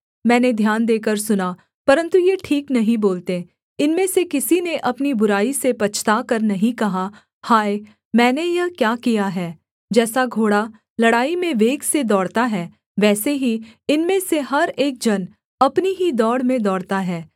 मैंने ध्यान देकर सुना परन्तु ये ठीक नहीं बोलते इनमें से किसी ने अपनी बुराई से पछताकर नहीं कहा हाय मैंने यह क्या किया है जैसा घोड़ा लड़ाई में वेग से दौड़ता है वैसे ही इनमें से हर एक जन अपनी ही दौड़ में दौड़ता है